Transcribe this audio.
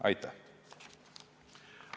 Aitäh!